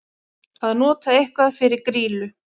Að nota eitthvað fyrir grýlu